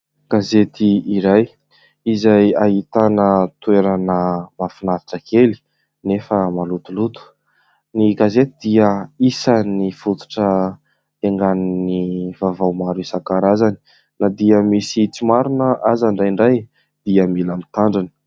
Gazety iray izay ahitana toerana mahafinaritra kely nefa malotoloto. Ny gazety dia isan'ny fototra hiaingan'ny vaovao maro isankarazany. Na dia misy tsy marina aza indrindray dia mila mitandrina.